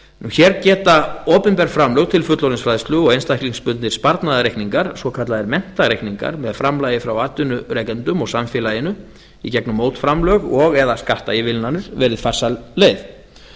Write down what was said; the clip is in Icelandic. hér geta opinber framlög til fullorðinsfræðslu og einstaklingsbundnir sparnaðarreikningar svokallaðir menntareikninga með framlagi frá atvinnurekendum og samfélaginu í gegnum mótframlög og eða skattaívilnanir verið farsæl leið